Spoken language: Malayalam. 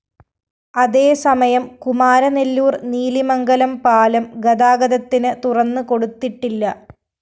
അതേ സമയം കുമാരനെല്ലൂര്‍ നീലിമംഗലം പാലം ഗതാഗതത്തിന് തുറന്ന് കൊടുത്തിട്ടില്ല